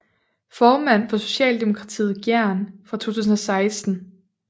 Formand for Socialdemokratiet Gjern fra 2016